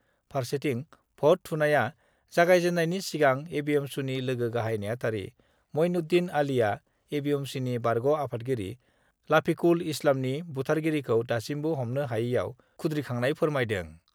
फारसेथि भट थुनायआ जागायजेन्नायनि सिगां एबिएमसुनि लोगो गाहाइ नेहाथारि मइनुद्दिन आलीआ एबिएमसुनि बारग' आफादगिरि लाफिकुल इस्लामनि बुथारगिरिखौ दासिमबो हमनो हायैआव खुद्रिखांनाय फोरमायदों।